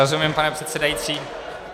Rozumím, pane předsedající.